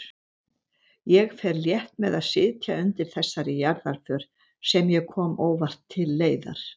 Ég fer létt með að sitja undir þessari jarðarför sem ég kom óvart til leiðar.